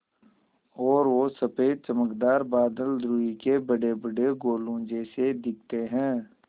और वो सफ़ेद चमकदार बादल रूई के बड़ेबड़े गोलों जैसे दिखते हैं